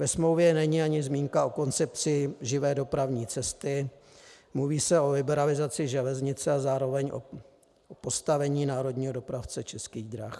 Ve smlouvě není ani zmínka o koncepci živé dopravní cesty, mluví se o liberalizaci železnice a zároveň o postavení národního dopravce Českých drah.